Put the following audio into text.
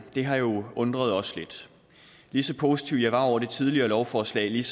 har jo undret os lidt lige så positiv jeg var over for det tidligere lovforslag lige